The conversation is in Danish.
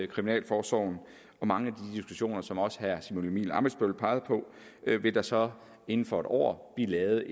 kriminalforsorgen og mange af som også herre simon emil ammitzbøll pegede på vil der så inden for et år blive lavet